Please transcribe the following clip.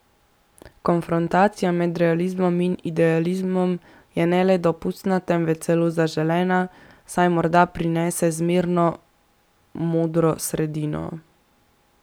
Konfrontacija med realizmom in idealizmom je ne le dopustna, temveč celo zaželena, saj morda prinese zmerno, modro sredino.